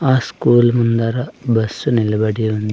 ఆ స్కూల్ ముందర బస్సు నిలబడి ఉంద్--